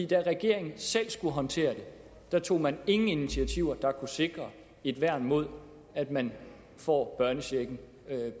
da regeringen selv skulle håndtere det tog man ingen initiativer der kunne sikre et værn mod at man får børnechecken